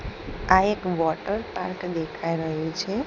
આ એક water park દેખાય રહ્યું છે.